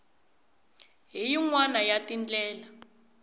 hi yin wana ya tindlela